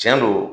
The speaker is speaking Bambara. Tiɲɛ don